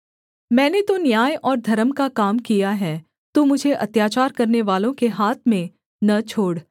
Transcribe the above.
मैंने तो न्याय और धर्म का काम किया है तू मुझे अत्याचार करनेवालों के हाथ में न छोड़